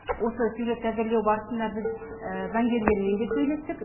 осы сюжетті әзірлеу барысында біз заңгерлермен де сөйлестік